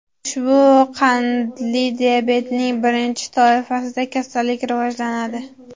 Ushbu qandli diabetning birinchi toifasida kasallik rivojlanadi.